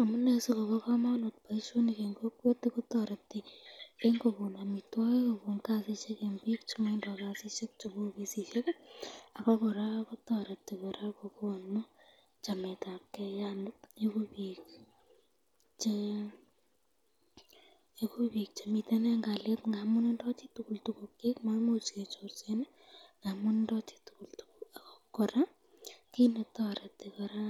Omune sikobo komonut boishoni en kokwet kotoreti en kokon amitwokik kobun kasisiek en biik chemotindo kasisiek cheuu okot sikik ak ko kora kotoreti kora kokonu chametabke yanii iku biik chemiten en kaliet ng'amun tindo chitukul tukukyik maimuch kechorsen amun tindo chitukul tukukyik, ak ko kora kinetoreti kora